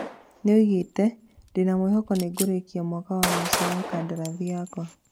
Nĩoigĩte "ndĩna mwĩhoko nĩngũrĩkia mwaka wa mũico wa kandarathi yakwa"